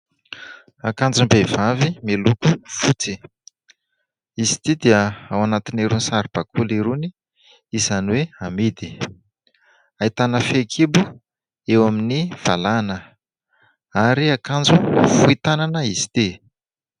Akanjom-behivavy miloko fotsy. Izy ity dia ao anatin'irony saribakoly irony izany hoe amidy, ahitana fehikibo eo amin'ny valahana ary akanjo fohy tanana izy ity.